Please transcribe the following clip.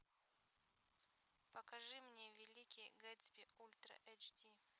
покажи мне великий гэтсби ультра эйч ди